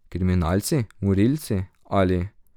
Kriminalci, morilci, ali?